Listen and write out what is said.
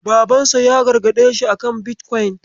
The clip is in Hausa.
Babansa ya gargaɗe shi akan bitkwaun.